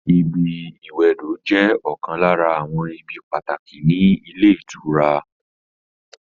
ibi ìwẹdò jẹ́ ọ̀kan lára àwọn ibi pàtàkì ní ilé ìtura